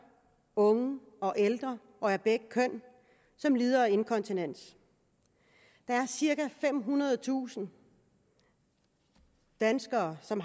unge og ældre og af begge køn som lider af inkontinens der er cirka femhundredetusind danskere som